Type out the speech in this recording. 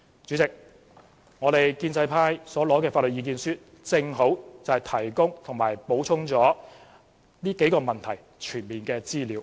主席，建制派所獲得的法律意見書正好提供及補充了有關這數個問題的全面資料。